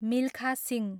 Milkha Singh